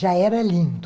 Já era lindo.